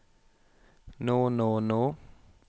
nå nå nå